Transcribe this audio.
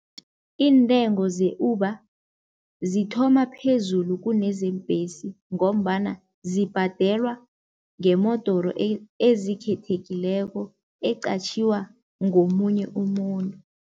Iintengo ze-Uber zithoma phezulu kunezeembhesi ngombana zibhadelwa ngemodoro ezikhethekileko eqatjhiwa ngomunye umuntu.